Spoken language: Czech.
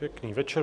Pěkný večer.